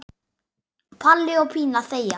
Palli og Pína þegja.